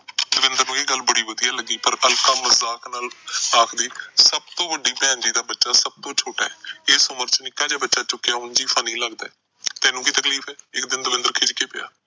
ਇਹ ਗੱਲ ਬੜੀ ਵਧੀਆ ਲੱਗੀ। ਪਰ ਅਲਕਾ ਮਜਾਕ ਨਾਲ ਆਖਦੀ ਸਭ ਤੋਂ ਵੱਡੀ ਭੈਣ ਜੀ ਦਾ ਬੱਚਾ ਸਭ ਤੋਂ ਛੋਟਾ ਆ। ਇਸ ਉਮਰ ਚ ਨਿੱਕਾ ਜਾ ਬੱਚਾ ਚੁੱਕਿਆ ਉਂਝ ਵੀ funny ਲੱਗਦਾ। ਤੈਨੂੰ ਕੀ ਤਕਲੀਫ ਆ, ਇੱਕ ਦਿਨ ਦਵਿੰਦਰ ਖਿਜ ਕੇ ਪਿਆ।